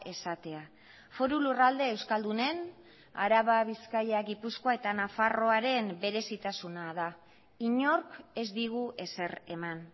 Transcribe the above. esatea foru lurralde euskaldunen araba bizkaia gipuzkoa eta nafarroaren berezitasuna da inork ez digu ezer eman